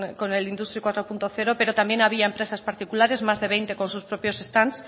con el industry cuatro punto cero pero también había empresas particulares más de veinte con sus propios stand